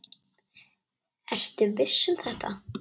Ertu viss um þetta?